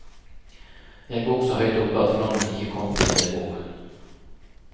Jeg bor så høyt oppe at flommen ikke kom dit jeg bor.